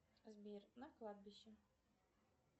сбер на кладбище